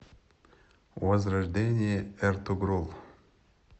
возрождение эртугрул